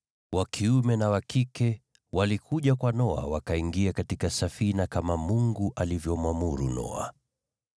wa kiume na wa kike, walikuja kwa Noa wakaingia katika safina kama Mungu alivyomwamuru Noa.